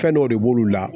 Fɛn dɔw de b'olu la